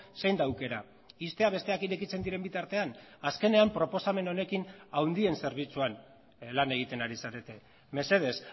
zein da aukera ixtea besteak irekitzen diren bitartean azkenean proposamen honekin handien zerbitzuan lan egiten ari zarete mesedez